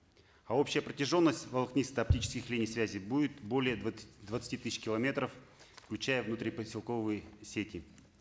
а общая протяженность волокнисто оптических линий связи будет более двадцати тысяч километров включая внутрипоселковые сети